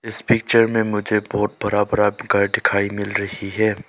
इस पिक्चर में मुझे बहोत बड़ा बड़ा घर दिखाई मिल रही है।